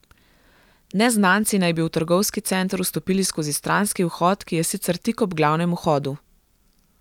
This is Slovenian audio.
Neznanci naj bi v trgovski center vstopili skozi stranski vhod, ki je sicer tik ob glavnem vhodu.